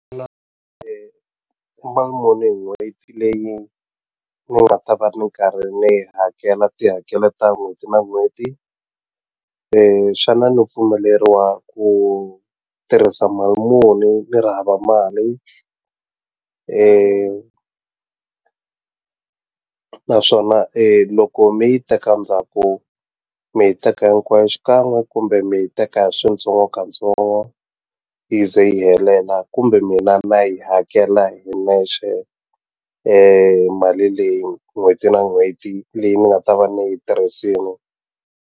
hi n'hweti leyi ni nga ta va ni karhi ni yi hakela tihakelo ta n'hweti na n'hweti xana ni pfumeleriwa ku tirhisa mali muni ni ri hava mali naswona loko mi yi teka ndzhaku mi yi teka hinkwayo xikan'we kumbe mi yi teka hi switsongo katsongo yi ze yi helela kumbe mina na yi hakela hi nexe mali leyi n'hweti na n'hweti leyi ni nga ta va ni yi tirhisini.